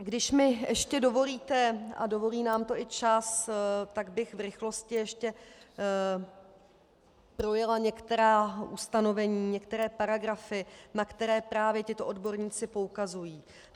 Když mi ještě dovolíte, a dovolí nám to i čas, tak bych v rychlosti ještě projela některá ustanovení, některé paragrafy, na které právě tito odborníci poukazují.